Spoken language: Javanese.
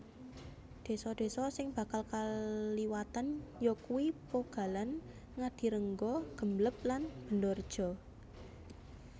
Desa désa sing bakal kaliwatan yakuwi Pogalan Ngadirenggo Gembleb lan Bendorejo